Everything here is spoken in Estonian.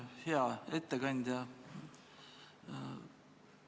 Hea ettekandja!